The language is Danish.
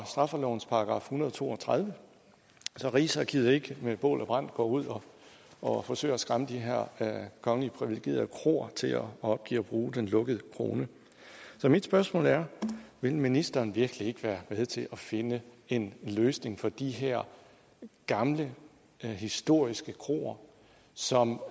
straffelovens § en hundrede og to og tredive så rigsarkivet ikke med bål og brand går ud og forsøger at skræmme de her kongeligt privilegerede kroer til at opgive at bruge den lukkede krone så mit spørgsmål er vil ministeren virkelig ikke være med til at finde en løsning for de her gamle historiske kroer som